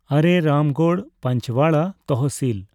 ᱟᱨᱮ Ramgarh Panchwara ᱛᱟᱦᱥᱤᱞ